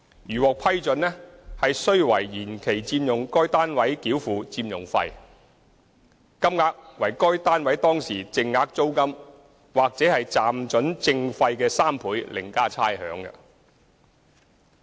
如獲批准，須為延期佔用該單位繳付佔用費，金額為該單位當時淨額租金或暫准證費的3倍另加差餉。